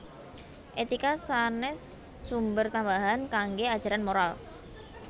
Étika sanès sumber tambahan kanggé ajaran moral